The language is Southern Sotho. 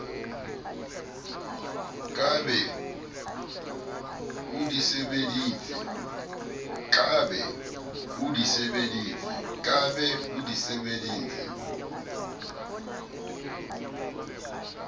ka be o di sebeditse